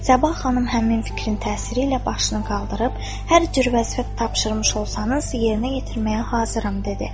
Səbah xanım həmin fikrin təsiri ilə başını qaldırıb, hər cür vəzifə tapşırmış olsanız, yerinə yetirməyə hazıram dedi.